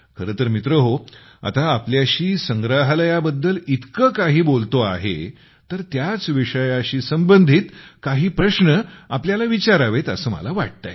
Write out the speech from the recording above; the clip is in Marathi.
खरे तर मित्रहो आता तुमच्याशी संग्रहालयाबद्दल इतके काही बोलतो आहे तर त्याच विषयाशी संबंधित काही प्रश्न तुम्हाला विचारावेत असे मला वाटते आहे